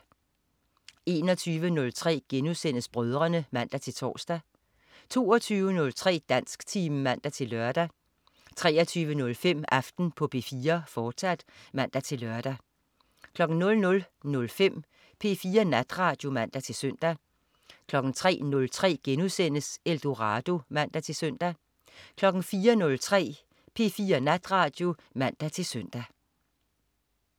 21.03 Brødrene* (man-tors) 22.03 Dansktimen (man-lør) 23.05 Aften på P4, fortsat (man-lør) 00.05 P4 Natradio (man-søn) 03.03 Eldorado* (man-søn) 04.03 P4 Natradio (man-søn)